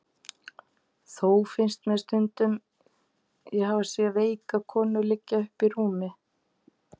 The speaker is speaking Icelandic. Þó finnst mér stundum sem ég hafi séð veika konu liggja uppi í rúmi.